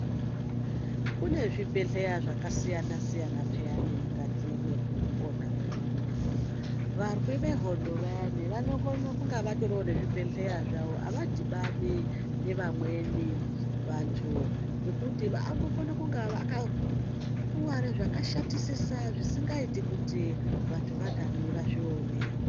Kune zvibhedhlera zvakasiyana-siyana pheyani mukati mwekupona mwedu muno, varwi vehondo vayani vanokone kunge vatoriwo nezvibhedhlera zvawo avadhibani nevamweni vantu ngekuti vanokona kunga vakakuware zvakashatisisa zvisingaiti kuti vantu vantani vazvione.